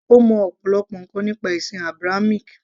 ó mọ ọ̀pọ̀lọpọ̀ ǹkan nípa ẹ̀sìn Abrahamic